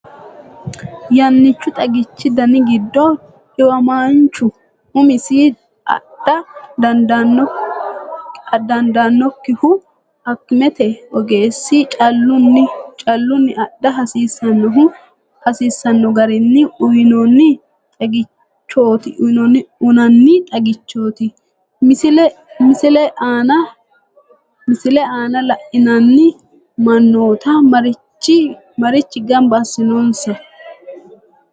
Yannichu xagichi dani giddo dhiwamaanchu umisi adha dandaan nokkihu akimete ogeessi callunni adha hasiissannohu garinni uyinanni xagichooti, Misile aana la’inanni mannoota mariachi gamba assinonsaha?